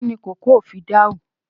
Kín ni kòkò o fìdáù?